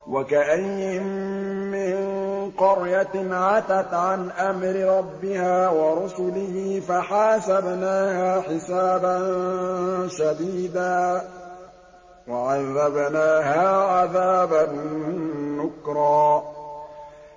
وَكَأَيِّن مِّن قَرْيَةٍ عَتَتْ عَنْ أَمْرِ رَبِّهَا وَرُسُلِهِ فَحَاسَبْنَاهَا حِسَابًا شَدِيدًا وَعَذَّبْنَاهَا عَذَابًا نُّكْرًا